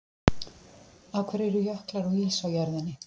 Af hverju eru jöklar og ís á jörðinni?